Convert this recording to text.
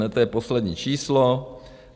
Ne, to je poslední číslo.